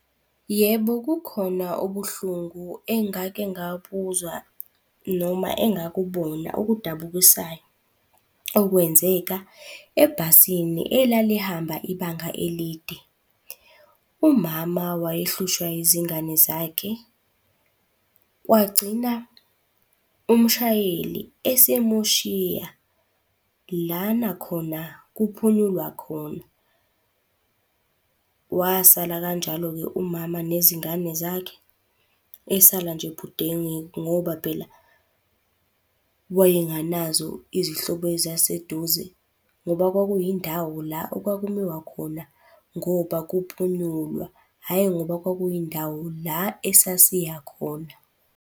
Yebo, kukhona ubuhlungu engake ngabuzwa noma engakubona okudabukisayo okwenzeka ebhasini elalihamba ibanga elide. Umama wayehluswa izingane zakhe, kwagcina umshayeli esemushiya lana khona kuphunyulwa khona. Wasala kanjalo-ke umama nezingane zakhe. Esala nje budengeku ngoba phela wayenganazo izihlobo ezaseduze ngoba kwakuyindawo la okwakumiwa khona ngoba kuphunyulwa, hhayi ngoba kwakuyindawo la esasiya khona.